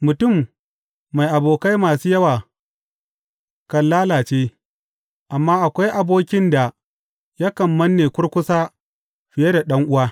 Mutum mai abokai masu yawa kan lalace, amma akwai abokin da yakan manne kurkusa fiye da ɗan’uwa.